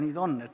Nii ta on.